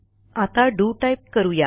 आता DO type करू या